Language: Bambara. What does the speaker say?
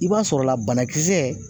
I b'a sɔrɔla banakisɛ